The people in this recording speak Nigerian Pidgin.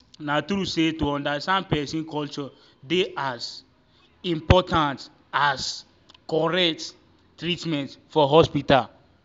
na true say to understand person culture dey as um important as um correct um treatment for hospital.